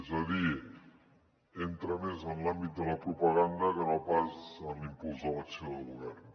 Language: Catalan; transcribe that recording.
és a dir entra més en l’àmbit de la propaganda que no pas en l’impuls de l’acció de govern